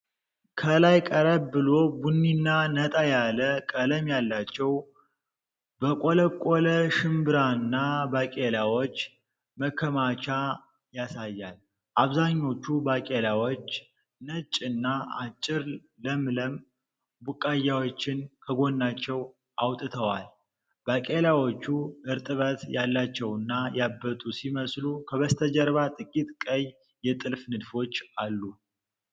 ከላይ ቀረብ ብሎ ቡኒና ነጣ ያለ ቀለም ያላቸው በቆለቆለ ሽምብራና ባቄላዎች መከማቻ ያሳያል። አብዛኞቹ ባቄላዎች ነጭ እና አጭር ለምለም ቡቃያዎችን ከጎናቸው አውጥተዋል። ባቄላዎቹ እርጥበት ያላቸውና ያበጡ ሲመስሉ፣ ከበስተጀርባው ጥቂት ቀይ የጥልፍ ንድፎች አሉ።